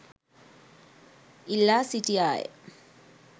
ඉල්ලා සිටියාය.